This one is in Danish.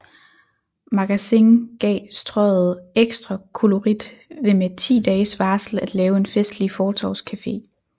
Magasin gav Strøget ekstra kollorit ved med 10 dages varsel at lave en festlig fortovscafe